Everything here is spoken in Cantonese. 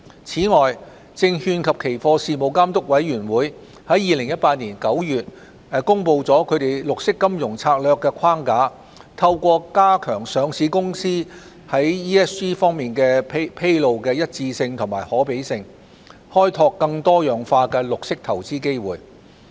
此外，證券及期貨事務監察委員會在2018年9月公布其綠色金融策略框架，透過加強上市公司在 ESG 方面作披露的一致性和可比性，開拓更多樣化的綠色投資機會。